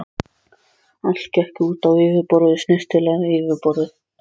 Allt gekk út á yfirborðið, snyrtilegt yfirborðið.